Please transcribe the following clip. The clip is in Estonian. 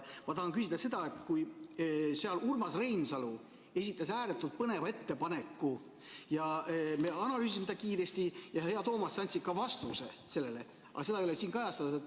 Ma tahan küsida seda, et kui seal Urmas Reinsalu esitas ääretult põneva ettepaneku ja me analüüsime seda kiiresti ja, hea Toomas, sa andsid ka vastuse sellele, aga seda ei ole siin kajastatud.